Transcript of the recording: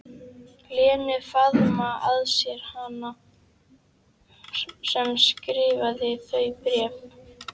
Lenu, faðma að sér hana sem skrifaði þau bréf.